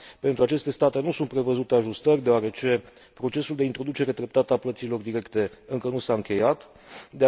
Pentru aceste state nu sunt prevăzute ajustări, deoarece procesul de introducere treptată a plăților directe nu s a încheiat încă.